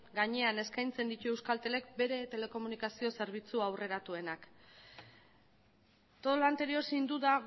gainean eskaintzen ditu euskaltelek bere telekomunikazio zerbitzu aurreratuenak todo lo anterior sin duda